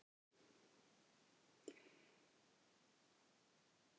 Nei, nei, þá kemur hann bara með veitingar!